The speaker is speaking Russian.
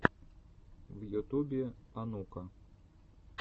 в ютубе онука